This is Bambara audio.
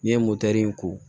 N'i ye motɛri ko